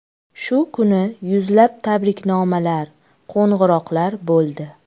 Shu kuni yuzlab tabriknomalar, qo‘ng‘iroqlar bo‘ldi.